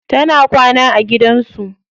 Tana kwana a gidan su.